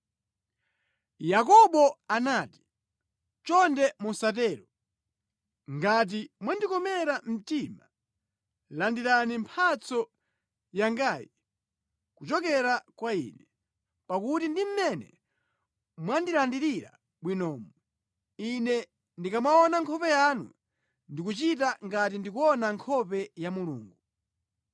Yakobo anati, “Chonde musatero. Ngati mwandikomera mtima, landirani mphatso yangayi kuchokera kwa ine. Pakuti ndi mmene mwandirandira bwinomu, ine ndikamaona nkhope yanu ndikuchita ngati ndikuona nkhope ya Mulungu.